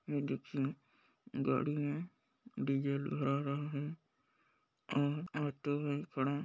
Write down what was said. ये देखिये गाड़ी में डीजल भरा रहा है और ऑटो वही खड़ा है।